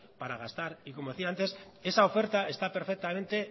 para gastar y como decía antes esa oferta está perfectamente